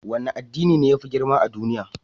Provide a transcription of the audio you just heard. Wane addini ne ya fi girma a duniya?